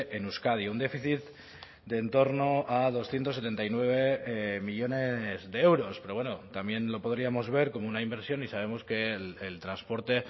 en euskadi un déficit de en torno a doscientos setenta y nueve millónes de euros pero bueno también lo podríamos ver como una inversión y sabemos que el transporte